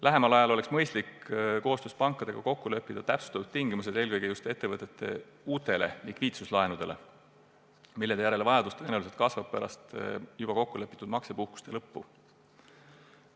Lähemal ajal oleks mõistlik leppida koostöös pankadega kokku täpsemad tingimused, eelkõige just ettevõtete uute likviidsuslaenudega seoses, mille järele kasvab vajadus tõenäoliselt juba pärast kokkulepitud maksepuhkuste lõppu.